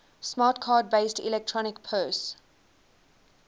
smart card based electronic purse